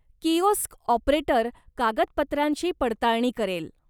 Kiosk operator कागदपत्रांची पडताळणी करेल.